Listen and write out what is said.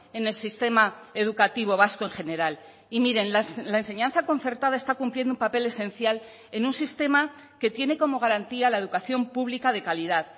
en el sistema educativo vasco en general y miren la enseñanza concertada está cumpliendo un papel esencial en un sistema que tiene como garantía la educación pública de calidad